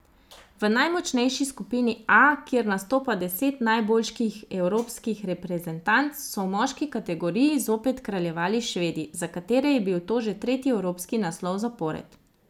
V najmočnejši skupini A, kjer nastopa deset najboljših evropskih reprezentanc, so v moški kategoriji zopet kraljevali Švedi, za katere je bil to že tretji evropski naslov zapored.